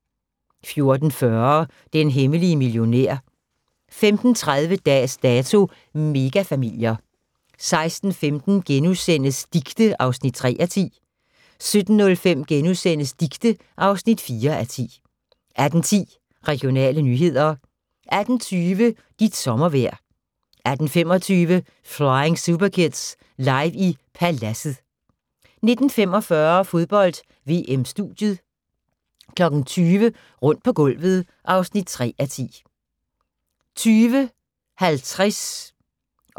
14:40: Den hemmelige millionær 15:30: Dags Dato: Mega-familier 16:15: Dicte (3:10)* 17:05: Dicte (4:10)* 18:10: Regionale nyheder 18:20: Dit sommervejr 18:25: Flying Superkids – Live i Paladset 19:45: Fodbold: VM - studiet 20:00: Rundt på gulvet (3:10) 20:50: Fodbold: VM - Tyskland-Ghana, direkte